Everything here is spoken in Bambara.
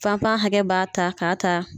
Fantan hakɛ b'a ta ka ta.